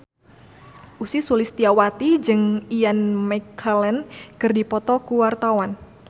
Ussy Sulistyawati jeung Ian McKellen keur dipoto ku wartawan